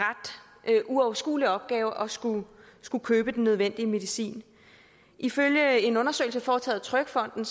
uoverskuelig opgave at skulle skulle købe den nødvendige medicin ifølge en undersøgelse foretaget af trygfonden